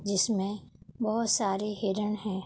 जिसमें बोहोत सारे हिरण हैं।